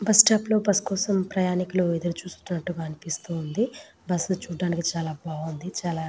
Bus stop లలో bus కోసం ప్రయనికుల్లు ఎదురు చుసినట్టుగ అనిపిస్తోంది. బస్సు చూడడానికి చాల బాగుంది చాల --